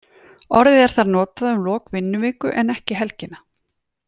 Orðið er þar notað um lok vinnuviku en ekki helgina.